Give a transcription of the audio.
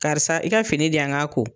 Karisa i ka fini di yan n k'a ko.